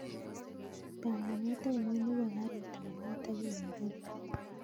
Panganet ainon nepo karit ap maat akoi nairobi